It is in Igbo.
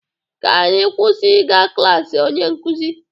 Ka anyị kwụsị ịga klas onye nkụzi